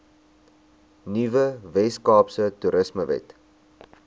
nuwe weskaapse toerismewet